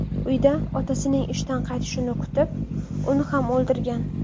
Uyda otasining ishdan qaytishini kutib, uni ham o‘ldirgan.